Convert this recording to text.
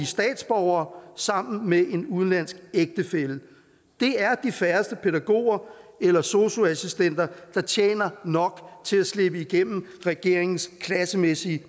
statsborgere sammen med en udenlandsk ægtefælle det er de færreste pædagoger eller sosu assistenter der tjener nok til at slippe igennem regeringens klassemæssige